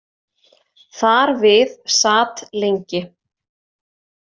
Þar við sat lengi.